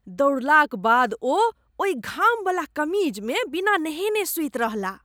दौड़लाक बाद ओ ओहि घामवला कमीजमे बिना नहयने सूति रहलाह।